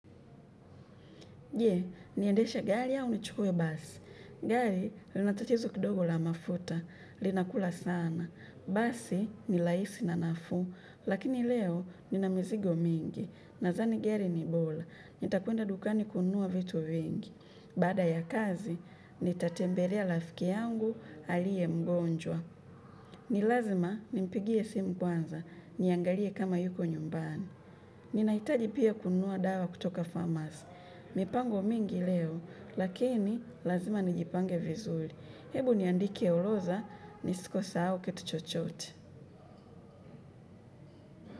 Je? Niendeshe gari au nichukue basi? Gari, linatachizo kidogo la mafuta. Linakula sana. Basi, ni laisi na nafuu lakini leo, nina mizigo mingi. Nazani gari ni bola. Nitakwenda dukani kununua vitu vingi. Baada ya kazi, nitatembelea lafiki yangu alie mgonjwa. Ni lazima nimpigie simu kwanza, niangalie kama yuko nyumbani. Ninaitaji pia kununua dawa kutoka farmers. Mipango mingi leo, lakini lazima nijipange vizuri. Hebu niandike uloza, nisikosahau kitu chochote.